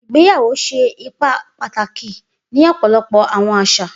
Igbeyawo ṣe ipa pataki ni ọpọlọpọ àwọn aṣa.